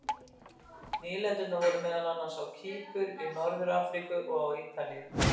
Nýlendurnar voru meðal annars á Kýpur, í Norður-Afríku og á Ítalíu.